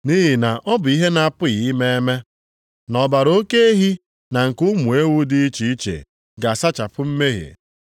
Nʼihi na ọ bụ ihe na-apụghị ime eme na ọbara oke ehi na nke ụmụ ewu dị iche iche ga-asachapụ mmehie.